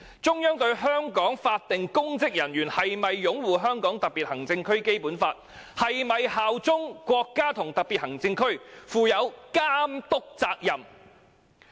中央是否正在監督香港法定公職人員是否擁護《香港特別行政區基本法》，以及是否效忠國家和特別行政區呢？